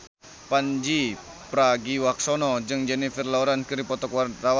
Pandji Pragiwaksono jeung Jennifer Lawrence keur dipoto ku wartawan